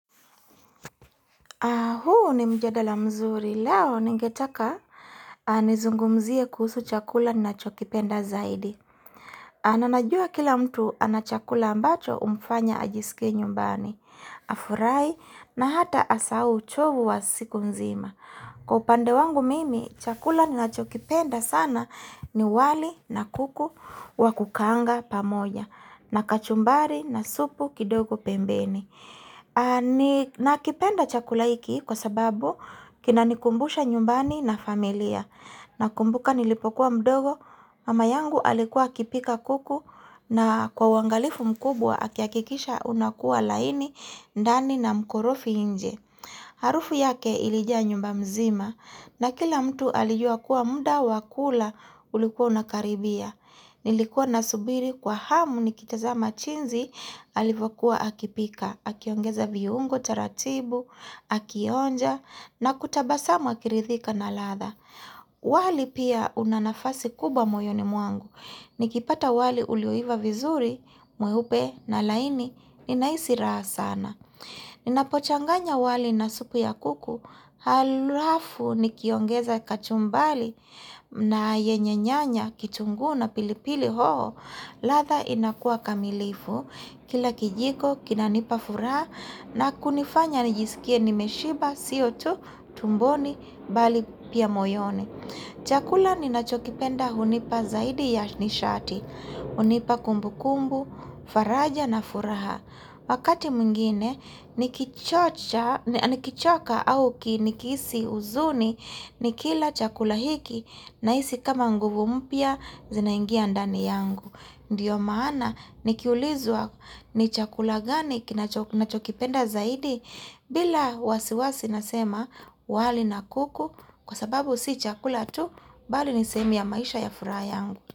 Huu ni mjadala mzuri, leo ningetaka nizungumzie kuhusu chakula ninachokipenda zaidi. Nanajua kila mtu ana chakula ambacho umfanya ajisike nyumbani, afurai na hata asahau uchovu wa siku mzima. Kwa upande wangu mimi, chakula ninachokipenda sana ni wali na kuku wa kukaanga pamoja na kachumbari na supu kidogo pembeni. Nakipenda chakula hiki kwa sababu kinanikumbusha nyumbani na familia Nakumbuka nilipokuwa mdogo mama yangu alikuwa akipika kuku na kwa uangalifu mkubwa akihakikisha unakuwa laini ndani na mkorofi inje Harufu yake ilijaa nyumba mzima na kila mtu alijua kuwa muda wa kula ulikuwa unakaribia Nilikuwa nasubiri kwa hamu nikitazama chinzi alivyokuwa akipika, akiongeza viungo taratibu, akionja na kutabasamu akiridhika na latha. Wali pia una nafasi kubwa moyoni mwangu. Nikipata wali ulioiva vizuri, mweupe na laini, ninaisi raha sana. Ninapochanganya wali na supu ya kuku, halafu nikiongeza kachumbali na yenye nyanya kitunguu na pilipili hoho latha inakua kamilifu, kila kijiko, kinanipa furaha na kunifanya nijisikie nimeshiba, sio tu, tumboni, bali pia moyoni Chakula ninachokipenda hunipa zaidi ya nishati, hunipa kumbukumbu, faraja na furaha Wakati mwingine nikichocha nikichoka au ki nikihisi uzuni nikila chakula hiki naisi kama nguvu mpya zinaingia ndani yangu. Ndiyo maana nikiulizwa ni chakula gani kinacho nachokipenda zaidi bila wasiwasi nasema wali na kuku kwa sababu si chakula tu bali ni sehemu ya maisha ya furaha yangu.